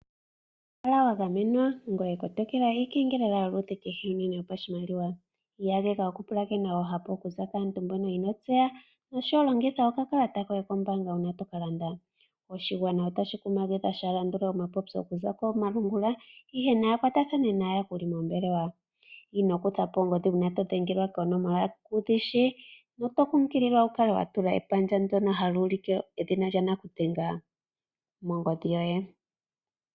Kala wagamwenwa ngoye kotokela iikengelela yoludhi kehe uunene yopashimaliwa. Iiyageka okupulakena oohapu okuza kaantu mboka inotseya oshowo, longitha okakalata koye kombaanga uuna tokalanda. Oshigwana otashi kumagidhwa shaalandule omapopyo okuza komalungula ihe naya kwatathane naayakuli moombelewa. Ino kutha po ongodhi uuna todhengelwa koonomola kudhishi. Oto kunkililwa wukale watula epandja ndono hali ulike edhina lyanakudhenga mongodhi yoye.